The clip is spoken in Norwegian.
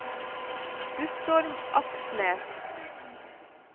Guttorm Aksnes